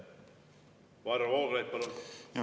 Varro Vooglaid, palun!